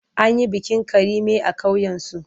An yi bikin Karime a ƙauyensu.